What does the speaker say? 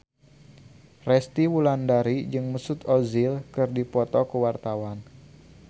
Resty Wulandari jeung Mesut Ozil keur dipoto ku wartawan